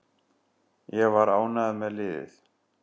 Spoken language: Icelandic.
Ég var ánægður með liðið.